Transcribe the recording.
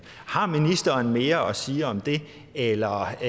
har ministeren mere at sige om det eller